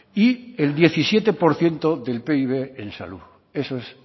y el diecisiete por ciento del pib en salud eso es